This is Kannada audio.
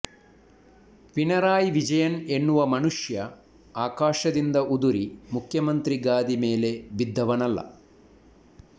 ಪಿಣರಾಯಿ ವಿಜಯನ್ ಎನ್ನುವ ಮನುಷ್ಯ ಆಕಾಶದಿಂದ ಉದುರಿ ಮುಖ್ಯಮಂತ್ರಿ ಗಾದಿ ಮೇಲೆ ಬಿದ್ದವನಲ್ಲ